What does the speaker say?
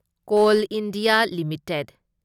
call India limited